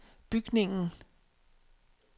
bygningen